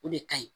O de ka ɲi